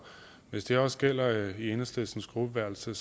hvis det også gælder i enhedslistens gruppeværelse